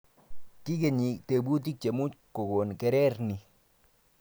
Kikenyi tebutik chemuch kokon kerer ni